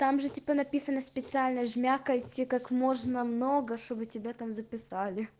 там же типа написано специально жмякайте как можно много чтобы тебя там записали